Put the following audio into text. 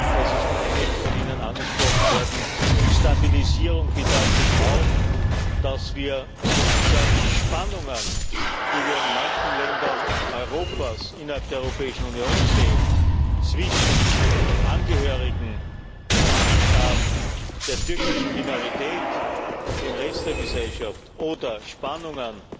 das ist von einigen von Ihnen angesprochen worden Stabilisierung bedeutet auch, dass wir die Spannungen, die wir in manchen Ländern Europas innerhalb der Europäischen Union zwischen Angehörigen der türkischen Minorität und dem Rest der Gesellschaft sehen, oder Spannungen